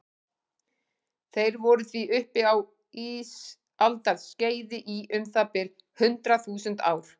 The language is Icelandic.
Þeir voru því uppi á ísaldarskeiði í um það bil hundrað þúsund ár.